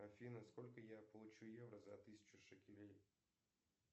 афина сколько я получу евро за тысячу шекелей